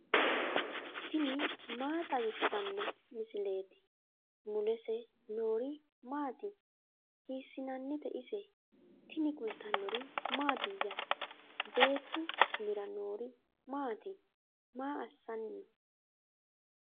tini maa xawissanno misileeti ? mulese noori maati ? hiissinannite ise ? tini kultannori mattiya? Beettu umira noori maatti? maa assanni noo?